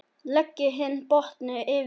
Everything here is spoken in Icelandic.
Leggið hinn botninn yfir.